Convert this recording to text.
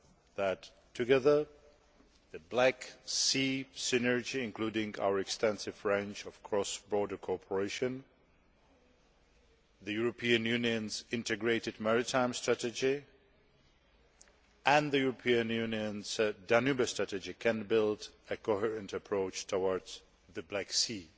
that together, the Black Sea Synergy including our extensive range of cross border cooperation the European Union's integrated maritime strategy and the European Union's Danube Strategy can build a coherent approach towards the Black Sea.